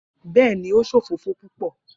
Bẹẹni, O ṣe òfófó pupọ.